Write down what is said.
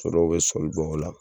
So dɔw be sɔli dɔ ola